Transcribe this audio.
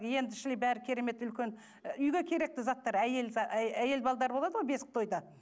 енді шіли бәрі керемет үлкен үйге керекті заттар әйел әйел болады ғой бесік тойда